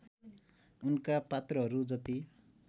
उनका पात्रहरू जति